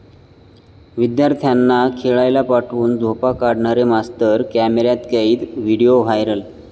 विद्यार्थ्यांना खेळायला पाठवून झोपा काढणारे मास्तर कॅमेऱ्यात कैद, व्हिडिओ व्हायरल!